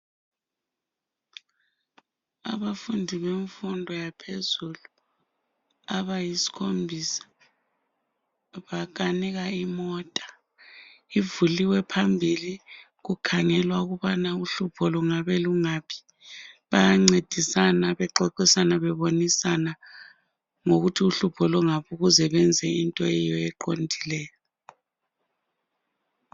Abafundi bemfundo yaphezulu abayisikhombisa bakanika imota. Ivuliwe phambili kukhangelwa ukuthi uhlupho lungabe lungaphi. Bayancedisana, bexoxisana bebonisana ngokuthi uhlupho lungaphi ukuze benze into eyiyo eqondileyo.